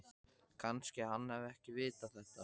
Kannski hann hafi ekki vitað þetta.